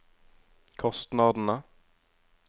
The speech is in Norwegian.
kostnadene